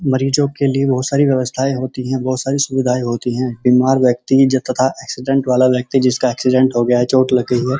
मरीजो के लिए बोहोत सारी व्यवस्थायें होती हैं। बोहोत सारी सुविधाएं होती हैं। बीमार व्यक्ति तथा एक्सीडेंट वाला व्यक्ति जिसका एक्सीडेंट हो गया चोट लग गई हो --